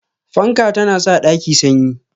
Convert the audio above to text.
Fanka ta na sa ɗaki sanyi